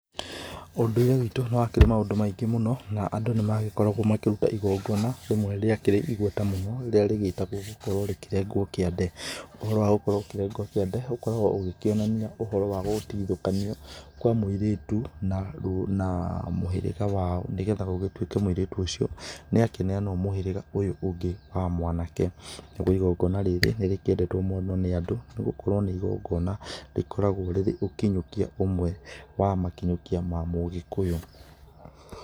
ũndũire witũ nĩ wakĩrĩ maũndũ maingĩ mũno, na andũ nĩ magĩkoragwo makĩruta igongona rĩmwe rĩakĩrĩ igweta mũno rĩrĩa rĩgĩtagwo gũkorwo rĩkĩrenga kiande, ũhoro wa gũkorwo ũkĩregwo kiande ũkoragwo ũkĩonania ũhoro wa gũgĩtigithokanio kwa mũirĩtu na mũhĩrĩga wao, nĩgetha gũgĩtuike mũiritu ũcio nĩ akĩneanwo mũhĩrĩga ũyũ ũngĩ wa mwanake, nagũo igongana rĩrĩ nĩ rĩkĩendetwo mũno nĩ andũ nĩ gũkorwo nĩ igongona rĩkoragwo rĩrĩ ũkinyũkia ũmwe wa makinyũkia ma mũgĩkũyũ.